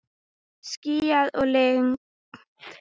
Skýjað og lygnt.